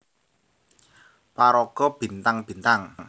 Paraga Bintang Bintang